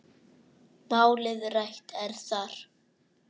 Málið rætt er þar.